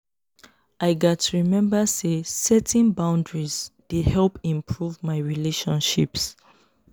i gats remember say setting boundaries dey help improve my my relationships.